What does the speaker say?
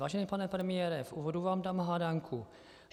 Vážený pane premiére, v úvodu vám dám hádanku.